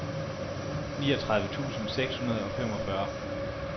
niogtredive tusind seks hundrede og femogfyrre